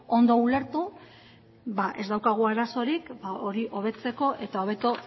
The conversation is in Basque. ondo ulertu ba ez daukagu arazorik hori hobetzeko eta hobeto